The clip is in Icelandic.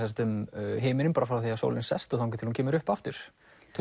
um himininn frá því að sólin sest og þangað til hún kemur upp aftur